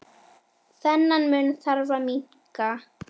Þennan mun þarf að minnka.